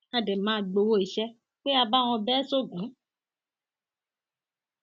a dẹ máa gbowó iṣẹ pé a bá wọn bẹ ẹ sọgun